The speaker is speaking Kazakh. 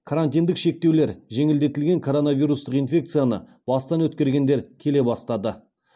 карантиндік шектеулер жеңілдетілген коронавирустық инфекцияны бастан өткергендер келе бастады